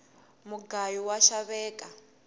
mugayu wa xaveka